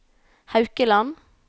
Haukeland